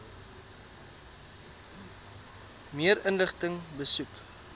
meer inligting besoek